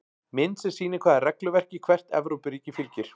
Mynd sem sýnir hvaða regluverki hvert Evrópuríki fylgir.